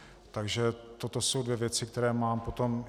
Takže toto jsou dvě věci, které mám potom.